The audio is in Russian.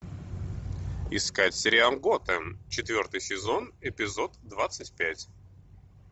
искать сериал готэм четвертый сезон эпизод двадцать пять